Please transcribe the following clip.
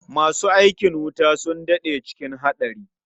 Masu aikin wuta sun daɗe cikin haɗari.